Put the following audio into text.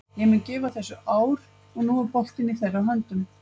Ég mun gefa þessu ár og nú er boltinn í þeirra höndum.